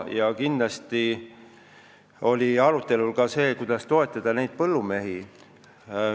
Muidugi me arutasime ka seda, kuidas toetada neid põllumehi.